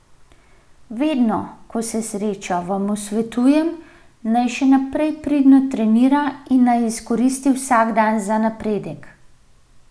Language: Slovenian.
Vedno, ko se srečava, mu svetujem, naj še naprej pridno trenira in naj izkoristi vsak dan za napredek.